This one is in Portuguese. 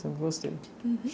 Sempre gostei. Uhum